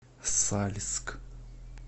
сальск